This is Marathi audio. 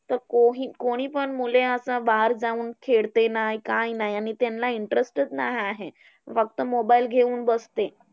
तर कोही कोणी पण मुले आता बाहेर जाऊन खेळते नाही, काय नाही, त्यांना interest नाही आहे. फक्त mobile घेऊन बसते.